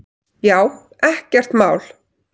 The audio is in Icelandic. Já, ekkert mál!